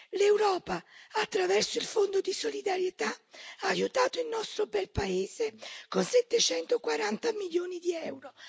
L'Europa, attraverso il Fondo di solidarietà, ha aiutato il nostro bel paese con 740 milioni di euro.